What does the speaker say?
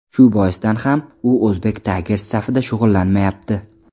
Shu boisdan ham u Uzbek Tigers safida shug‘ullanmayapti.